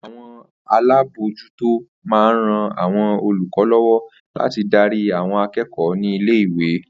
Àwo̩n alábòójútó máa ń ran àwo̩n olùkó̩ ló̩wó̩ láti darí àwo̩n aké̩kò̩ó̩ ní ilé ìwé